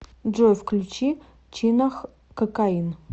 джой включи чинах кокаин